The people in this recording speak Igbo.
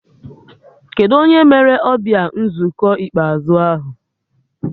Kedụ onye mere ọbịa nzukọ ikpeazụ ahụ?